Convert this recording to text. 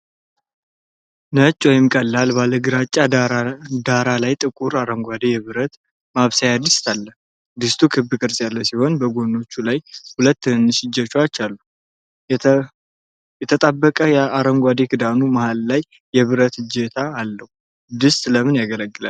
ነጭ ወይም ቀለል ባለ ግራጫ ዳራ ላይ ጥቁር አረንጓዴ የብረት ማብሰያ ድስት አለ። ድስቱ ክብ ቅርጽ ያለው ሲሆን በጎኖቹ ላይ ሁለት ትናንሽ እጀታዎች አሉት። የተጣበቀው አረንጓዴ ክዳኑ መሃል ላይ የብረት እጀታ አለው። ድስቱ ለምን ያገለግላል?